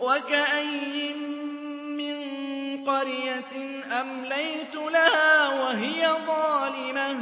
وَكَأَيِّن مِّن قَرْيَةٍ أَمْلَيْتُ لَهَا وَهِيَ ظَالِمَةٌ